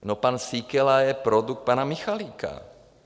No, pan Síkela je produkt pana Michalika.